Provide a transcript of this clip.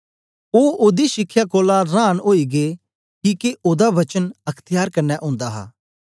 ओ ओदी शिखया कोलां रांन ओई गै किके ओदा वचन अख्त्यार कन्ने ओंदा हा